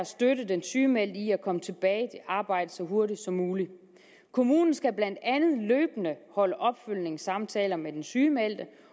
at støtte den sygemeldte i at komme tilbage til arbejdet så hurtigt som muligt kommunen skal blandt andet løbende holde opfølgningssamtaler med den sygemeldte